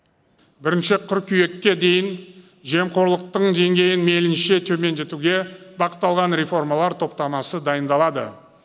бірінші қыркүйекке дейін жемқорлықтың деңгейін мейлінше төмендетуге бағытталған реформалар топтамасы дайындалады